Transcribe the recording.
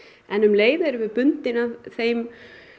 en um leið erum við bundin af þeim